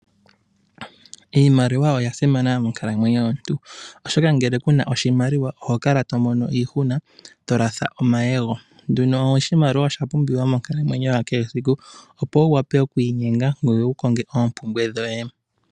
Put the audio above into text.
Iimaliwa oya simana monkalamwenyo yomuntu, oshoka ngele ku na oshimaliwa oho kala to mono iihuna to latha omayego. Oshimaliwa osha pumbiwa monkalamwenyo ya kehe esiku opo wu wape oku inyenga ngoye wu konge oompumbwe dhoye.